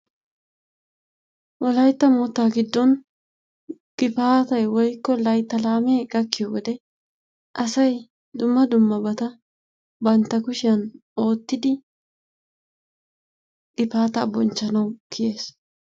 Wolaytta moottaa giddon gifaatay woykko laytta laamee gakkiyo wode asay dumma dummabata bantta kushiyan oottidi gifaataa bonchchanawu kiyees.